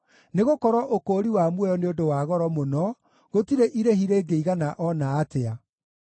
nĩgũkorwo ũkũũri wa muoyo nĩ ũndũ wa goro mũno, gũtirĩ irĩhi rĩngĩigana o na atĩa,